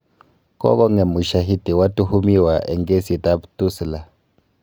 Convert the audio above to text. Kogong'em usyahiti watuhumiwa eng kesiit ab Tulisa